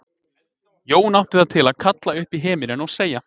Jón átti það til að kalla upp í himininn og segja